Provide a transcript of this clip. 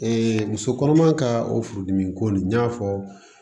muso kɔnɔma ka o furudimi ko nin y'a fɔ